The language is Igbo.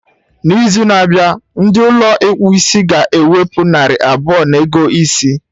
Na izu na-abịa, ndị Ụlọ ịkpụ isiga ewepụ narị abụọ na ego isi